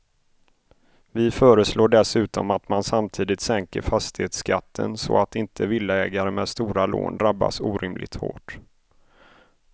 Vi föreslår dessutom att man samtidigt sänker fastighetsskatten så att inte villaägare med stora lån drabbas orimligt hårt.